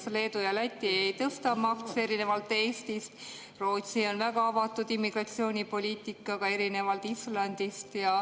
Näiteks Leedu ja Läti ei tõsta makse, erinevalt Eestist, Rootsi on väga avatud immigratsioonipoliitikaga, erinevalt Islandist.